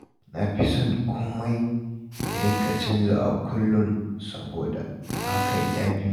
Na fi son komai ya dinga canzawa kullum saboda hakan ya fi